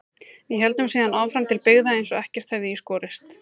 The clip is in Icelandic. Við héldum síðan áfram til byggða eins og ekkert hefði í skorist.